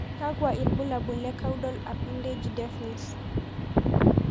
Kakwa ibulabul le caudal appendage deafness?